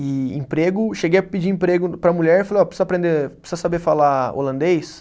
E emprego. Cheguei a pedir emprego para a mulher e falei, ó, precisa aprender, precisa saber falar holandês?